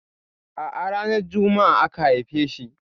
A'a ranar Juma'a aka haife shi.